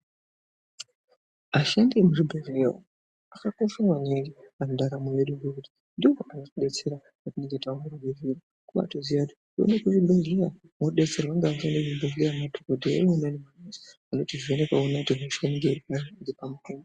Ashandi emuzvibhehleya umo akakosha maningi pandaramo yedu ngekuti ndiwo anotidetsera patinenge tawirwa ngehosha ngekuti ndiwona anotoziya kuti kana munthu auya pachibhehleya anotivheneka oona kuti hosha inenge iripari.